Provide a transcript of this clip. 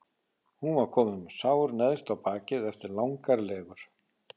Hún var komin með sár neðst á bakið eftir langar legur.